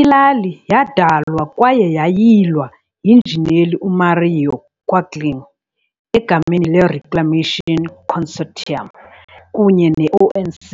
Ilali yadalwa kwaye yayilwa yinjineli uMario Quaglini egameni leReclamation Consortium kunye ne-ONC